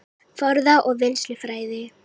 Forða- og vinnslufræði